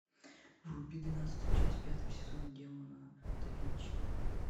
вруби двенадцатую часть пятого сезона демоны да винчи